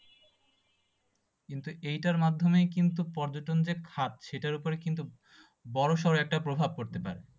কিন্তু এইটার মাধ্যমেই কিন্তু পর্যটনদের খাত সেইটার ওপরে কিন্তু বড়সড় একটা প্রভাব পড়তে পারে।